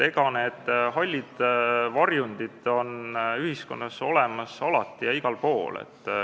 Need hallid varjundid on ühiskonnas olemas alati ja igal pool.